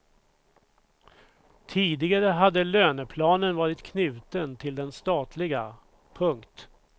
Tidigare hade löneplanen varit knuten till den statliga. punkt